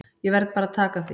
Ég verð bara að taka því.